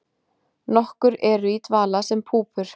Nokkur eru í dvala sem púpur.